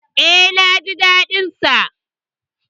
E, na ji daɗin sa.